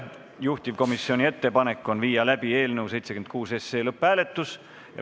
Juhtivkomisjoni ettepanek on viia läbi eelnõu 76 lõpphääletus.